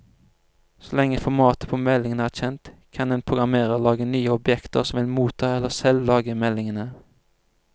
Så lenge formatet på meldingen er kjent, kan en programmerer lage nye objekter som vil motta eller selv lage meldingene.